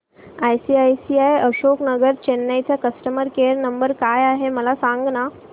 ICICI Ashok Nagar Chennai चा customer care number काय आहे मला सांगाना